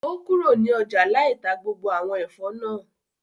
O kúrò ní ọjà lai tá gbogbo àwọn Ẹ̀fọ́ náà